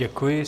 Děkuji.